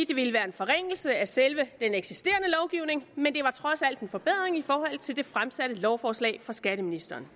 det ville være en forringelse af selve den eksisterende lovgivning men det var trods alt en forbedring i forhold til det fremsatte lovforslag fra skatteministeren